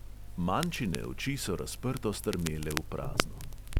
Mančine oči so razprto strmele v prazno.